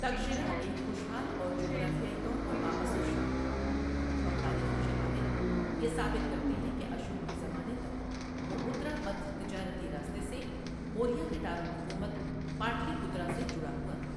تکشلا ایک خوشحال اور جغرافیائی طور پر بااثر شہر تھا، اور تاریخی شواہد یہ ثابت کرتے ہیں کہ اشوک کے زمانے تک، وہ اتراپتھ تجارتی راستے سے موریا کے دارالحکومت پاٹلی پترا سے جڑا ہوا تھا۔